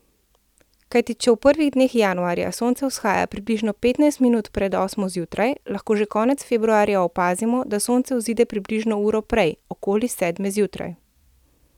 Kajti če v prvih dneh januarja sonce vzhaja približno petnajst minut pred osmo zjutraj, lahko že konec februarja opazimo, da sonce vzide približno uro prej, okoli sedme zjutraj.